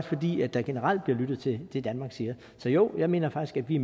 fordi der generelt bliver lyttet til det danmark siger så jo jeg mener faktisk at vi